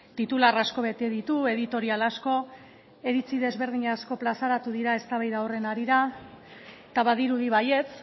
titular asko bete ditu editorial asko iritzi desberdin asko plazaratu dira eztabaida horren harira eta badirudi baietz